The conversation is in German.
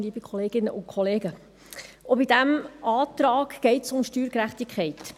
Auch bei diesem Antrag geht es um Steuergerechtigkeit.